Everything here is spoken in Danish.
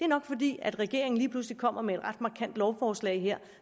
nok fordi regeringen lige pludselig kommer med et ret markant lovforslag